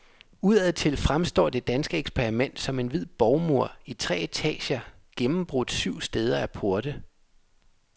Udadtil fremstår det danske eksperiment som en hvid borgmur i tre etager, gennembrudt syv steder af porte.